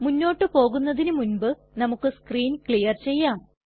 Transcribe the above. മുന്നോട്ട് പോകുന്നതിനു മുൻപ് നമുക്ക് സ്ക്രീൻ ക്ലിയർ ചെയ്യാം